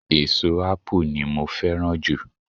eso ápù ni mo fẹràn ju